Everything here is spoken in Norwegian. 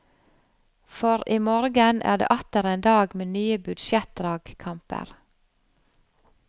For i morgen er det atter en dag med nye budsjettdragkamper.